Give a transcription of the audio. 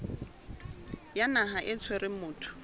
ya naha e tshwereng motho